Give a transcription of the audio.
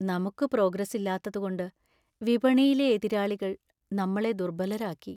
നമുക്ക് പ്രോഗ്രസ് ഇല്ലാത്തതുകൊണ്ട് വിപണിയിലെ എതിരാളികൾ നമ്മളെ ദുർബലരാക്കി.